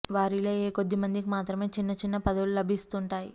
వారిలో ఏ కొద్ది మందికి మాత్రమే చిన్న చిన్న పదవులు లభిస్తుంటాయి